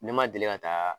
Ne ma deli ka taa